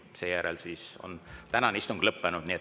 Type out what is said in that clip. Seejärel on tänane istung lõppenud.